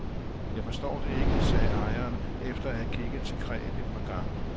Jeg forstår det ikke, sagde ejeren efter at have kigget til kræet et par gange.